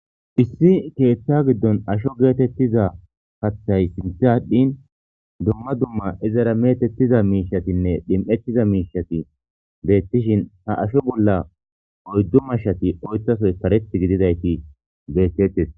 issi keeththa giddon asho geetettiza kathay sintha adhdhin dumma dumma izara metettiza miishatinne dhim7ettiza miishati beettishin ha asho bolla oyddu mashshati oytasoy kareth gididayti beettettes.